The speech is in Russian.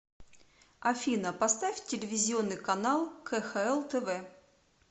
афина поставь телевизионный канал кхл тв